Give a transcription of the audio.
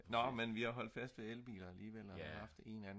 nå men vi har holdt fast ved elbiler alligevel og vi har haft en anden